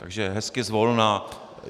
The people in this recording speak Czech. Takže hezky zvolna.